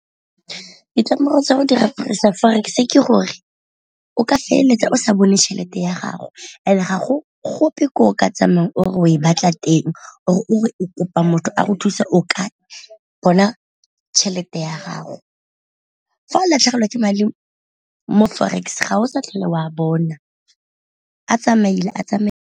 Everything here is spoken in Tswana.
Ditlamorago tsa go dirisa forex ke gore o ka feleletsa o sa bone tšhelete ya gago and-e gago gope ko o ka tsamaya or e o e batla teng, or o re o kopa motho a go thusa ka bona tšhelete ya gago. Fa o latlhegelwa ke madi mo forex ga o sa tlhole o a bona a tsamaile a tsamaile.